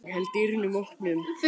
Ég held dyrunum opnum.